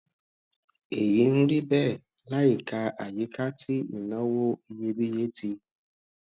èyí ń rí béè láìka àyíká tí ìnáwó iyebíye ti